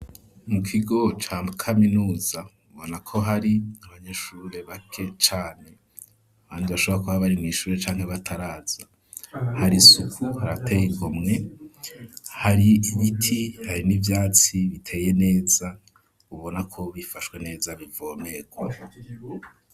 Mu kigo ca kaminuza ubonako hari abanyeshure bake cane bandi bashobora kuba bari mw'ishure canke bataraza, hari isuku rirateye igomwe hari ibiti hari n'ivyatsi biteye neza ubonako bifashwe neza bivomerwa.